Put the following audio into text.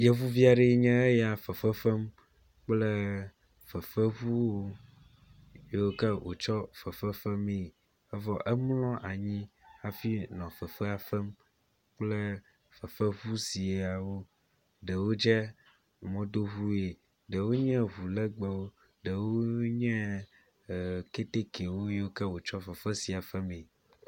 Yevuvi aɖee nye ya fefefem kple fefeŋu yiwo ke wotsɔ fefefemee. Evɔ emlɔ anyi hafi nɔ fefea fem kple fefeŋu siawo. Ɖewo dze mɔdoɔue, ɖewo nye ŋu legbewo, ɖewo nye e ketekewo yiwo ke wotsɔ fefe sia fe mee.